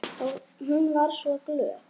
Hún var svo glöð.